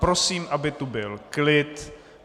Prosím, aby tu byl klid.